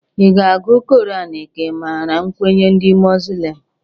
I ga-agụ koran ka ị mara nkwenye ndị Moslem?